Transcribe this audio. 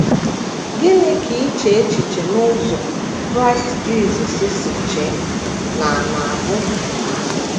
Gịnị ka iche echiche n’ụzọ Kraịst Jisọs si chee na - na - bụ?